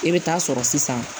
E bɛ taa sɔrɔ sisan